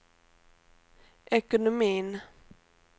ekonomin